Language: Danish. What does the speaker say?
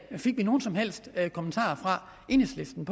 fik vi nogen som helst kommentarer fra enhedslisten